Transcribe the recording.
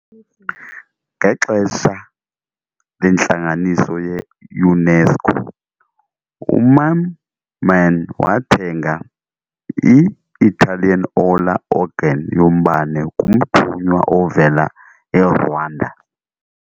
Ngexesha lentlanganiso ye-UNESCO, uMamman wathenga i-Italian Orla organ yombane kumthunywa ovela eRwanda.